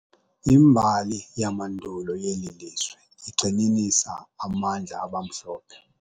Imbali yamandulo yeli lizwe igxininisa amandla abamhlophe.